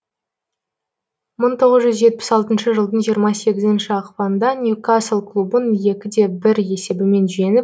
мың тоғыз жүз жетпіс алтыншы жылдың жиырма сегізінші ақпанында ньюкасл клубын екі де бір есебімен жеңіп